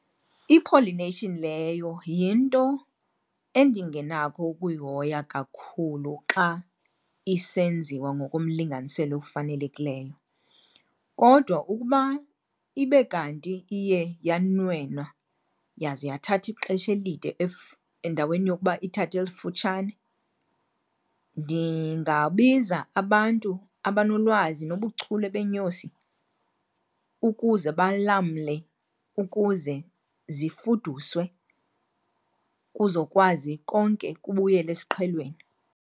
I-pollination leyo yinto endingenakho ukuyihoya kakhulu xa isenziwa ngokomlinganiselo ofanelekileyo. Kodwa ukuba ibe kanti iye yanwenwa yaze yathatha ixesha elide endaweni yokuba ithathe elifutshane, ndingabiza abantu abanolwazi nobuchule beenyosi ukuze balamle ukuze zifuduswe kuzokwazi konke kubuyele esiqhelweni.